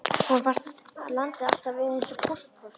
Honum fannst landið alltaf vera eins og póstkort.